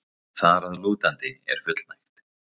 þar að lútandi er fullnægt.